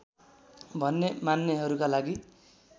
भन्ने मान्नेहरूका लागि